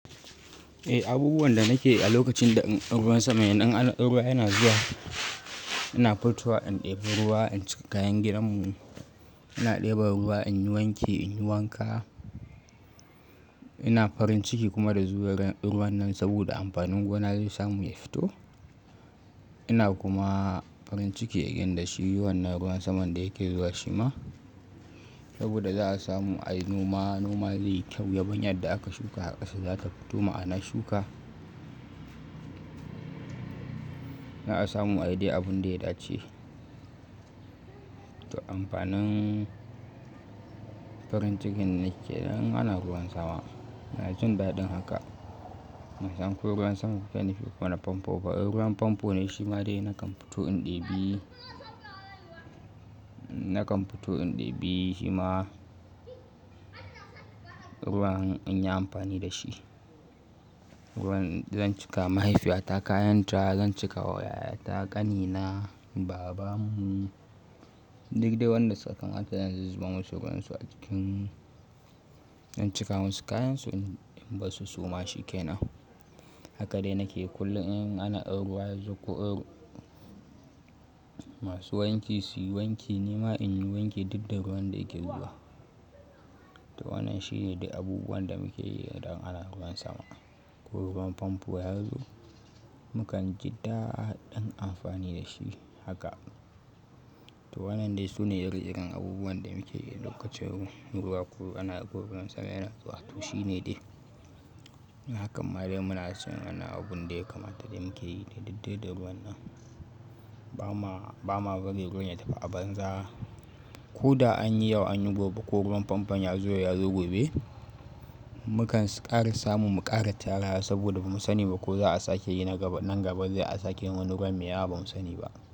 Eh, abubuwan da nake yi a lokacin da ruwan sama idan ana ruwa yana zuwa. Ina furtawa, in ɗebe ruwa, in cika kayan gidanmu, ina ɗebe ruwa, in yi wanke, in yi wanka. Ina farin ciki kuma da zuwar ruwan nan saboda amfanin gona zai samu ya fito. Ina kuma farin ciki a agent shi yiwuwar nan ruwan saman da yake zuwa shima. Saboda za a samu ayi noma, noma zai yi kyau, yabon yadda aka shuka a ƙasa za ta fito ma ana shuka. Za a samu ayi dai abun da ya dace. To amfanin farin ciki da nake yi idan ana ruwan sama. Ina jin daɗin haka. Na san ko ruwan sama yake nufi ko mana famfo. Ba'a ruwan famfo ne shima dai nakan fito in ɗebi, nakan fito in ɗebi shima. Ruwan in yi amfani da shi. Ruwan zan cika mahaifiyata kayanta, zan cika wa yayata, ƙanina, babamu, duk dai wanda tsakaninmu ta zan zuba musu ruwan su a jikin su. In cika musu kayansu in basu suma shi kenan. Haka dai nake kullum in ana ruwa yazo ko masu wanki su yi wanki, ni ma in yi wanki duk da ruwan da yake zuwa. To wannan shi ne dai abubuwan da muke yi idan ana ruwan sama. Ko ruwan famfo yazo, mukan jidda dan amfani da shi haka. To wannan dai sune iririn abubuwan da muke yi lokaci ruwan ruwa ko ana ruwan sama yana zuwa to shi ne dai. Haka ma dai muna cikin ana abun da ya kamata da muke yi daidai da ruwan nan. Ba ma, ba ma bari ruwan yatafi a b banza. Ko da an yi yau an yi gobe ko ruwan famfon ya zo yazo gobe, mu kan ƙara samun mu ƙara taraya saboda bamu sani ba ko za a sake yi na gaba, nan gaba zai a sake yin wani ruwan me yawa bamu sani ba.